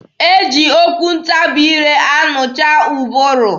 E ji okwu ntabi ire anụcha ụbụrụ.